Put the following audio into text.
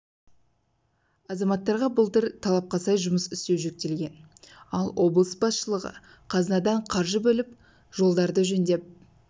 азаматтарға былтыр талапқа сай жұмыс істеу жүктелген ал облыс басшылығы қазынадан қаржы бөліп жолдарды жөндеп